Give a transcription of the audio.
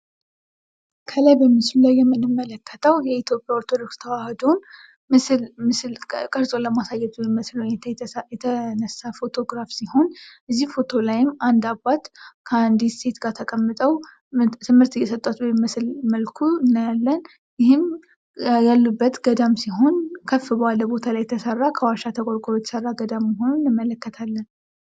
ከላይ በምስሉ ላይ የምንመለከተው የኢትዮጵያ ኦርቶዶክስ ተዋሕዶ ምስል ቀርጾ ለማሳየት የተነሳ ፎቶግራፍ ሲሆን በዚህ ፎቶ ላይም አንድ አባት ከአንድት ሴት ጋር ተቀምጠው ትምህርት እየሰጧት በሚመስል መልኩ እናያለን። ይህም ያሉበት ገዳም ሲሆን ከፍ ባለ ቦታ የተሰራ ከዋሻ ተቆርቁሮ የተሰራ ገዳም መሆኑን እንመለከታለን።